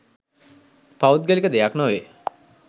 පෞද්ගලික දෙයක් නොවේ.